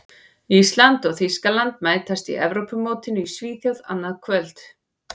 Ísland og Þýskaland mætast á Evrópumótinu í Svíþjóð annað kvöld.